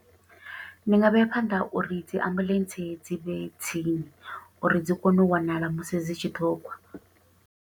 Ndi nga vheya phanḓa uri dzi ambuḽentse dzi vhe tsini, uri dzi kone u wanala musi dzi tshi ṱhogwa.